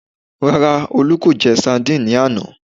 Rárá, Olú kò jẹ sandíìnì ní àná